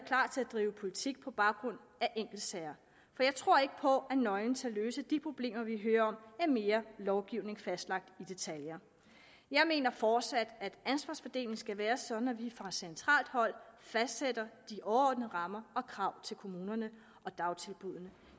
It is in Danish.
drive politik på baggrund af enkeltsager for jeg tror ikke på at nøglen til at løse de problemer vi hører om er mere lovgivning fastlagt i detaljer jeg mener fortsat at ansvarsfordelingen skal være sådan at vi fra centralt hold fastsætter de overordnede rammer og krav til kommunerne og dagtilbuddene